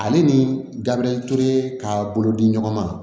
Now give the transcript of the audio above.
Ale ni gabiriyɛri ture ka bolo di ɲɔgɔn ma